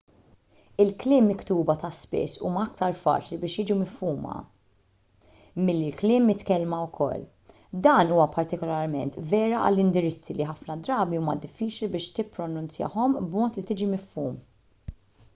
il-kliem miktuba ta' spiss huma aktar faċli biex jiġu mifhuma milli l-kliem mitkellma ukoll dan huwa partikularment vera għall-indirizzi li ħafna drabi huma diffiċli biex tippronunzjahom b'mod li tiġi mifhum